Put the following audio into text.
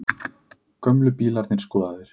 Gömlu bílarnir skoðaðir